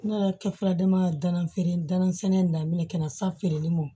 Ne yɛrɛ kɛ sɛnɛ daminɛ kɛnɛ safe mɔ